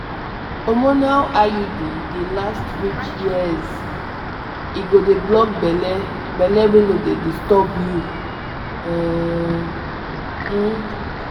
to put implant put implant no too hard na just small touch to put am and boom e go prevent belle without stress!